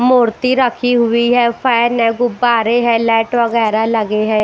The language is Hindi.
मूर्ति रखी हुई है फैन है गुब्बारे है लाइट वगैरा लगे है।